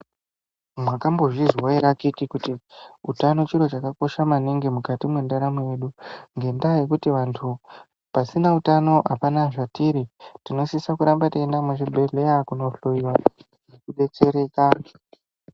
Mwakambozvizwa ere akhiti kuti utano chiro chakakosha maningi mukati mwendaramo yedu ngendaa yekuti vantu pasina utano apana zvatiri. Tinosisa kuramba teienda muzvibhedhlera kohloyiwa kudetsereka